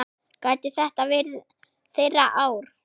Gæti þetta verið þeirra ár?